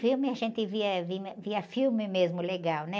Filme, a gente via, via filme mesmo legal, né?